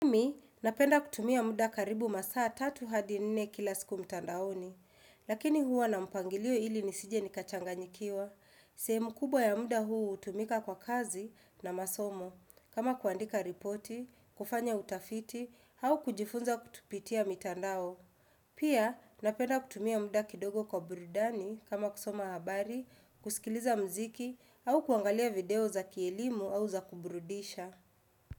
Mimi, napenda kutumia muda karibu masaa tatu hadi nne kila siku mtandaoni. Lakini huwa na mpangilio ili nisije nikachanganyikiwa. Sehemu kubwa ya muda huu utumika kwa kazi na masomo. Kama kuandika ripoti, kufanya utafiti, au kujifunza kupitia mitandao. Pia, napenda kutumia muda kidogo kwa burudani kama kusoma habari, kusikiliza mziki, au kuangalia video za kielimu au za kuburudisha.